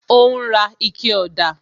Ó ń ra ikẹ ọ̀dà